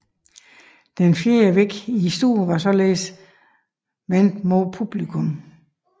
Den fjerde væg i stuen var således vendt mod publikummet